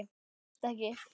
Minnið brást ekki.